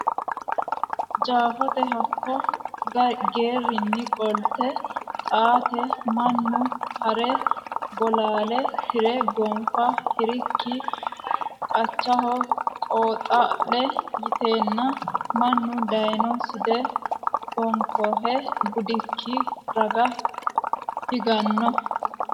Jeefote hakko geerrinni qolte Xaate mannu ha re Bolaale tire gonfa hirikki qachaho qeexaa lo yiteenna mannu dayno Side baoonkehe budikki raga higanno.